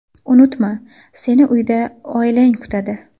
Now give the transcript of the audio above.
Unutma, seni uyda oilang kutadi!”.